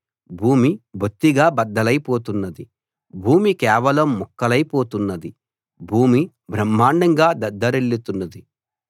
భూమి బొత్తిగా బద్దలై పోతున్నది భూమి కేవలం ముక్కలై పోతున్నది భూమి బ్రహ్మాండంగా దద్దరిల్లుతున్నది